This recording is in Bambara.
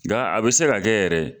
Nka a bɛ se ka kɛ yɛrɛ